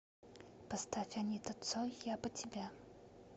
поставь анита цой я бы тебя